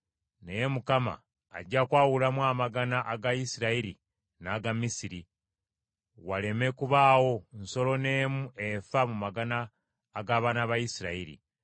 Naye Mukama ajja kwawulamu amagana aga Isirayiri n’aga Misiri, waleme kubaawo nsolo n’emu efa mu magana ag’abaana ba Isirayiri.’ ”